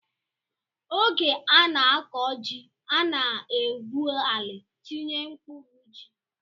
Oge a na-akọ ji, a na-egwu ala, tinye mkpụrụ ji